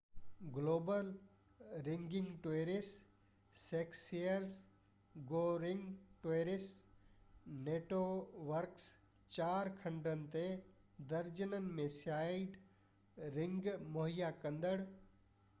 global running towers successor go running towers networks چار کنڊن تي درجنن ۾ سائيٽ رننگ مهيا ڪندڙ